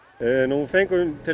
við fengum til